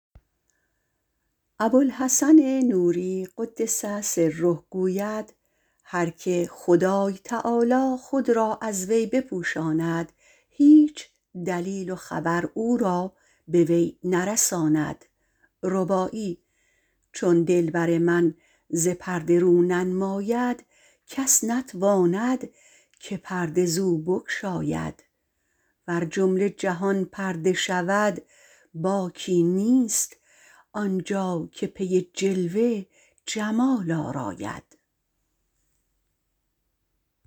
ابوالحسن نوری - قدس الله تعالی سره - گوید هر که خدای تعالی خود را از وی بپوشاند هیچ دلیل و خبر او را به وی نرساند چون دلبر ما ز پرده رو ننماید کس نتواند که پرده زو بگشاید ور جمله جهان پرده شود باکی نیست آنجا که پی جلوه جمال آراید